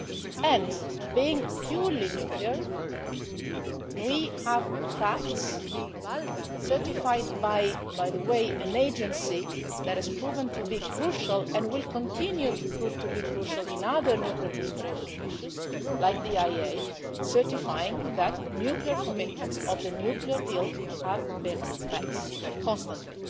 Since it was purely nuclear, we have facts certified by an agency that has proven to be crucial and will continue to prove to be crucial in other nuclear proliferation issues like the IAEA, certifying that nuclear commitments of the nuclear deal have been met constantly.